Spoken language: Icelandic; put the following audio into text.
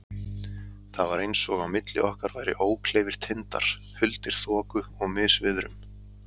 Það var eins og á milli okkar væru ókleifir tindar, huldir þoku og misviðrum.